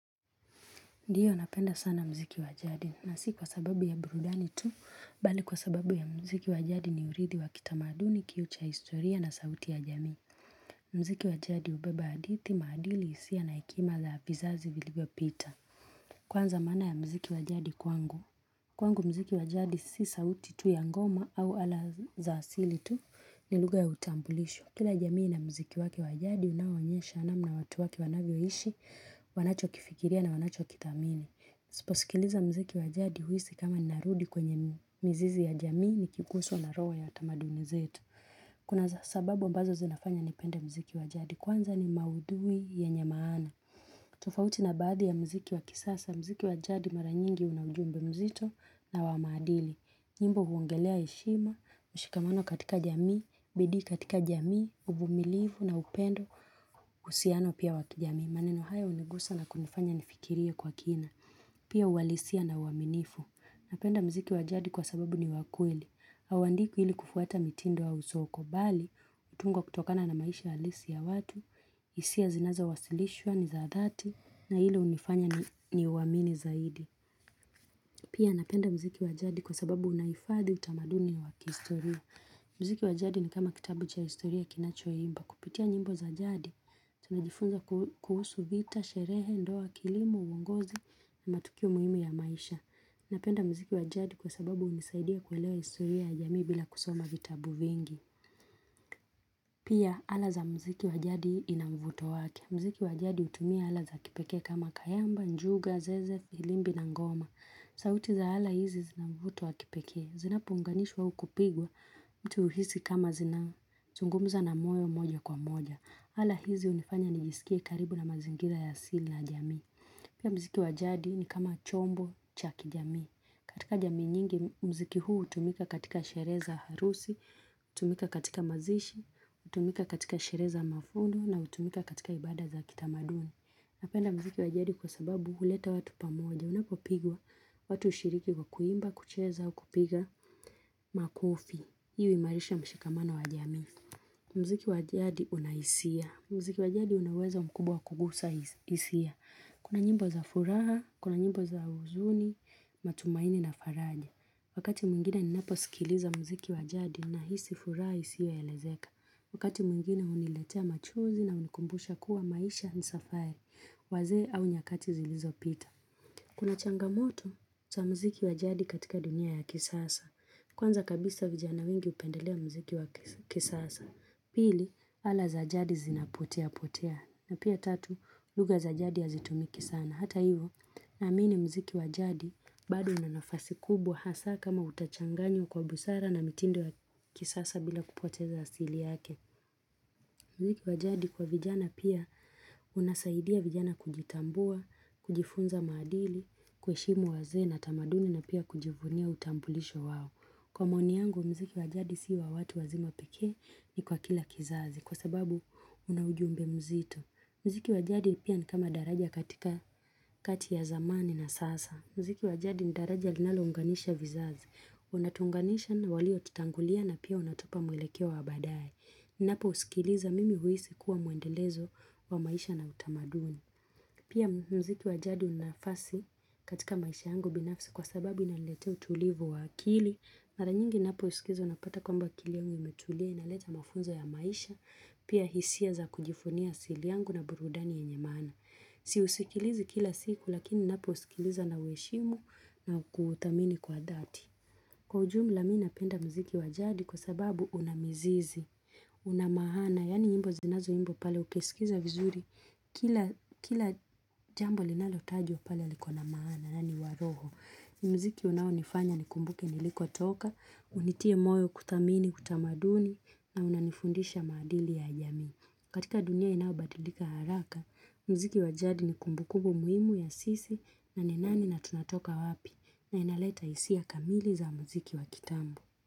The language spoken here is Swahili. Ndiyo napenda sana mziki wa jadi na si kwa sababu ya burudani tu, bali kwa sababu ya mziki wa jadi ni urithi wa kitamaduni kioo cha historia na sauti ya jamii. Mziki wa jadi hubeba adithi maadili hisia na hekima za vizazi vilivyopita. Kwanza maana ya mziki wa jadi kwangu. Kwangu mziki wa jadi si sauti tu ya ngoma au ala za asili tu ni lugha ya utambulisho. Kila jamii ina mziki wake wa jadi unaoonyesha namna watu wake wanavyoishi wanachokifikiria na wanachokithamini. Nisiposikiliza mziki wa jadi huhisi kama narudi kwenye mizizi ya jamii nikiguswa na roho ya tamaduni zetu. Kuna sababu ambazo zinafanya nipende mziki wa jadi. Kwanza ni maudhui yenye maana. Tofauti na baadhi ya mziki wa kisasa, mziki wa jadi mara nyingi una ujumbe mzito na wa maadili. Nyimbo huongelea heshima, mshikamano katika jamii, bidii katika jamii, uvumilivu na upendo uhusiano pia wa kijamii. Maneno haya hunigusa na kunifanya nifikirie kwa kina. Pia uhalisia na uaminifu. Napenda mziki wa jadi kwa sababu ni wa kweli. Haundikwi ili kufuata mitindo au soko. Bali, hutungwa kutokana na maisha halisi ya watu. Isia zinazowasilishwa, ni za dhati. Na ile hunifanya niuamini zaidi. Pia napenda mziki wa jadi kwa sababu unaifadhi utamaduni wa kiistoria. Mziki wa jadi ni kama kitabu cha historia kinachoimba. Kupitia nyimbo za jadi. Tunajifunza kuhusu vita, sherehe, ndoa, kilimo, uongozi na matukio muhimu ya maisha Napenda mziki wa jadi kwa sababu hunisaidia kuelewa historia ya jamii bila kusoma vitabu vingi Pia ala za mziki wa jadi ina mvuto wake mziki wa jadi hutumia ala za kipekee kama kayamba, njuga, zeze, filimbi na ngoma sauti za ala hizi zina mvuto wa kipekee Zinapounganishwa au kupigwa mtu huhisi kama zinazungumza na moyo moja kwa moja ala hizi hunifanya nijisikie karibu na mazingira ya asili na jamii. Pia mziki wa jadi ni kama chombo cha kijamii. Katika jamii nyingi, mziki huu hutumika katika sheree za harusi, hutumika katika mazishi, hutumika katika sherehe za mavuno na hutumika katika ibada za kitamaduni. Napenda mziki wa jadi kwa sababu huleta watu pamoja. Unapopigwa watu hushiriki kwa kuimba, kucheza, kupiga makofi. Hii huimarisha mshikamano wa jamii. Mziki wa jadi una hisia. Mziki wa jadi una uwezo mkubwa wa kugusa hisia. Kuna nyimbo za furaha, kuna nyimbo za huzuni, matumaini na faraja. Wakati mwingine ninaposikiliza mziki wa jadi nahisi furaha isiyoelezeka. Wakati mwingine huniletea machungu na hunikumbusha kuwa maisha ni safari. Wazee au nyakati zilizopita. Kuna changamoto za mziki wa jadi katika dunia ya kisasa. Kwanza kabisa vijana wengi hupendelea mziki wa kisasa. Pili, ala za jadi zinapoteapotea. Na pia tatu, lugha za jadi hazitumiki sana. Hata hivo, naamini mziki wa jadi bado una nafasi kubwa hasa kama utachanganywa kwa busara na mitindo ya kisasa bila kupoteza asili yake. Mziki wa jadi kwa vijana pia unasaidia vijana kujitambua, kujifunza maadili, kuheshimu wazee na tamaduni na pia kujivunia utambulisho wao. Kwa maoni yangu mziki wa jadi si ya watu wazima pekee ni kwa kila kizazi kwa sababu una ujumbe mzito. Mziki wa jadi pia ni kama daraja katika kati ya zamani na sasa. Mziki wa jadi ni daraja linalounganisha vizazi. Unatuunganisha na waliotutangulia na pia unatupa mwelekeo wa baadaye. Napousikiliza mimi huhisi kuwa muendelezo wa maisha na utamaduni. Pia mziki wa jadi una nafasi katika maisha yangu binafsi kwa sababu inaniletea utulivu wa akili. Mara nyingi napousikiliza unapata kwamba akili yangu imetulia inaleta mafunzo ya maisha. Pia hisia za kujivunia asili yangu na burudani yenye maana. Siusikilizi kila siku lakini napousikiliza nauheshimu na kuthamini kwa dhati. Kwa ujumla mi napenda mziki wa jadi kwa sababu una mizizi. Una maana, yaani nyimbo zinazoimbwa pale ukisikiza vizuri Kila jambo linalotajwa pale liko na maana, na ni wa roho mziki unaonifanya nikumbuke nilikotoka Unitie moyo kuthamini, utamaduni na unanifundisha maadili ya jamii katika dunia inayobadilika haraka mziki wa jadi ni kumbukumbu muhimu ya sisi na ni nani na tunatoka wapi na inaleta hisia kamili za mziki wa kitambo.